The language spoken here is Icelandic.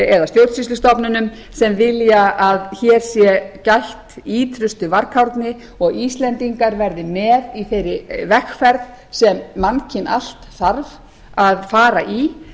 eða stjórnsýslustofnunum sem vilja að hér sé gætt ýtrustu varkárni og íslendingar verði með í þeirri vegferð sem mannkyn allt þarf að fara í